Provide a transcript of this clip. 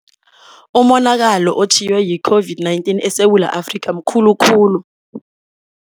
Umonakalo otjhiywe yi-COVID-19 eSewula Afrika mkhulu khulu.